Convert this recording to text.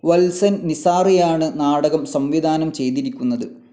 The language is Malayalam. വത്സൻ നിസാറിയാണ് നാടകം സംവിധാനം ചെയ്തിരിക്കുന്നത്.